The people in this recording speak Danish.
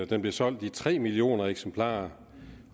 den blev solgt i tre millioner eksemplarer